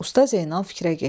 Usta Zeynal fikrə getdi.